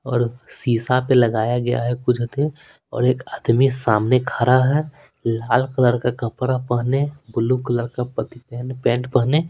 और शीशा पे लगाया गया है कुछ देर और एक आदमी सामने खड़ा है लाल कलर का कपड़ा पहने ब्लू कलर का पति पहन पेंट पहने।